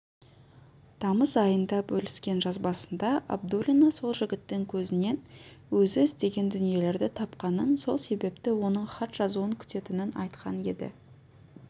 тамыз айында бөліскен жазбасында абдуллина сол жігіттің көзінен өзі іздеген дүниелерді тапқанын сол себепті оның хат жазуын күтетінін айтқан еді